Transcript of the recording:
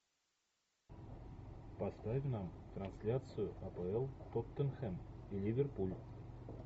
поставь нам трансляцию апл тоттенхэм и ливерпуль